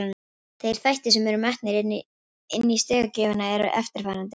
Þeir þættir sem eru metnir inni í stigagjöfina eru eftirfarandi: